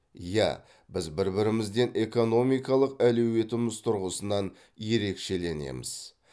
иә біз бір бірімізден экономикалық әлеуетіміз тұрғысынан ерекшеленеміз